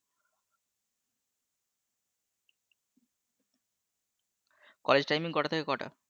college timing কটা থেকে কটা?